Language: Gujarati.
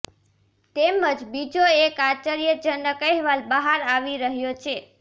તેમજ બીજો એક આશ્ચર્યજનક અહેવાલ બહાર આવી રહ્યો છે